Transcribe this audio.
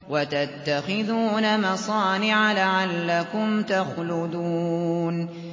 وَتَتَّخِذُونَ مَصَانِعَ لَعَلَّكُمْ تَخْلُدُونَ